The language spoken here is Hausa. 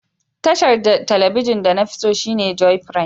Tashar telibijin de na fi tso shine Joy Prime.